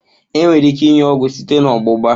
Enwere ike inye ọgwụ site na ọgbụgba.